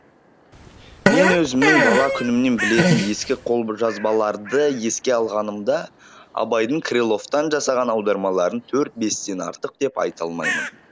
мен өзімнің бала күнімнен білетін ескі қолжазбаларды еске алғанымда абайдың крыловтан жасаған аудармаларын төрт бестен артық деп айта алмаймын